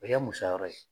O ye musaka ye